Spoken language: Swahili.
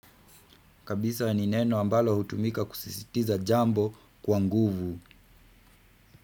Kabisa ni neno ambalo hutumika kusisitiza jambo kwa nguvu.